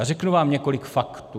A řeknu vám několik faktů.